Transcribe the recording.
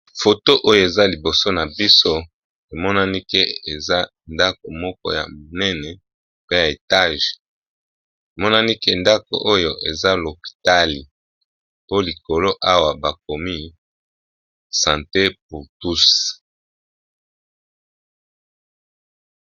Foto oyo eza liboso na biso emonani ke eza ndaku moko ya munene pe ya etage emonani ke ndaku oyo eza lopitali po likolo awa bakomi sante pour tous.